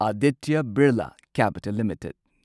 Aditya Birla capital limited